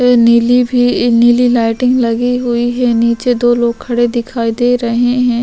नीली भी नीली लाइटिंग लगी हुई है नीचे दो लोग खड़े दिखाई दे रहे है।